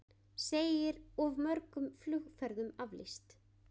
Segir of mörgum flugferðum aflýst